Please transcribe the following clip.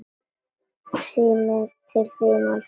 Síminn til þín, elskan!